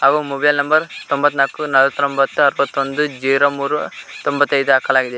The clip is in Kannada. ಹಾಗು ಮೊಬೈಲ್ ನಂಬರ್ ತೊಂಬತ್ನಾಕು ನಲವತ್ರೊಂಬತ್ತು ಎಪ್ಪತ್ತೊಂದು ಜೀರೋ ಮೂರು ತೊಂಬತ್ತೈದು ಹಾಕಲಾಗಿದೆ.